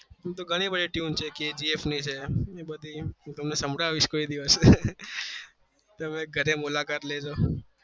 અમ તો ઘણી બધી ધૂન છે તમે ઘરે મુલાકાત લેજો